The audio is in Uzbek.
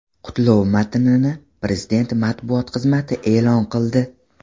Qutlov matnini Prezident matbuot xizmati e’lon qildi .